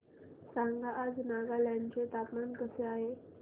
सांगा आज नागालँड चे हवामान कसे आहे